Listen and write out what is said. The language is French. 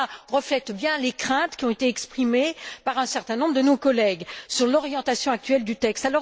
Cela reflète bien les craintes qui ont été exprimées par un certain nombre de nos collègues sur l'orientation actuelle du texte.